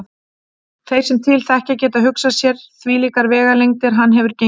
Þeir sem til þekkja geta hugsað sér hvílíkar vegalengdir hann hefur gengið.